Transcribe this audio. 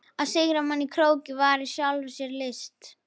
Að sigra mann í krók var í sjálfu sér list.